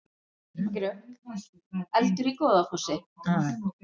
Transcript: Eldur í Goðafossi